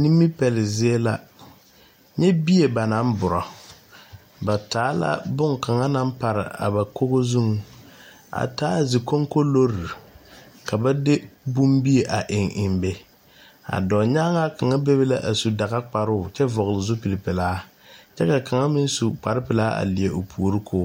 Nimipele zie la nyɛ bie banaŋ bora ba taa la boŋkaŋa naŋ pare a ba kogo zuŋ a taa zikonkolore ka ba de bombie eŋ eŋ be a dɔɔnyaaŋa kaŋa bebe la a su dagakparoo kyɛ vɔgle zupili pelaa kyɛ ka kaŋa meŋ su kparrepelaa a leɛ o puori k'o